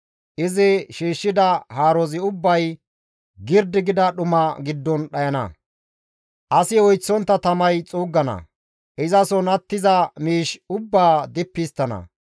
Izi shiishshida haarozi ubbay girdi gida dhuma giddon dhayana; asi oyththontta tamay xuuggana; izason attiza miish ubbaa dippi histtana.